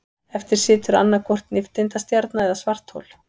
Eftir situr annaðhvort nifteindastjarna eða svarthol.